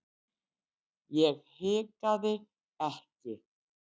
Ég hikaði ekki.